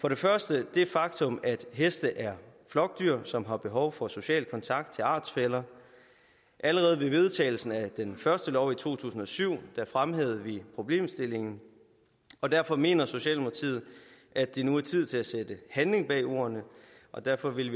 for det første er det et faktum at heste er flokdyr som har behov for social kontakt til artsfæller allerede ved vedtagelsen af den første lov i to tusind og syv fremhævede vi problemstillingen og derfor mener socialdemokratiet at det nu er tid til at sætte handling bag ordene og derfor vil vi